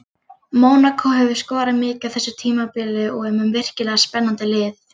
Mónakó hefur skorað mikið á þessu tímabili og er með virkilega spennandi lið.